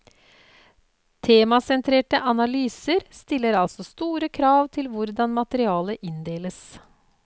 Temasentrerte analyser stiller altså store krav til hvordan materialet inndeles.